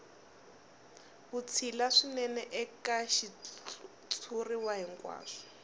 vutshila swinene eka xitshuriwa hinkwaxo